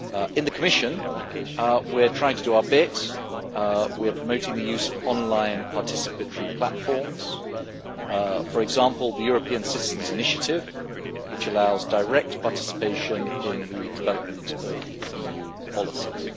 In the Commission, we are trying to do our bit. We are promoting the use of online participatory platforms, for example the European Citizens' Initiative, which allows direct participation in the development of EU policies.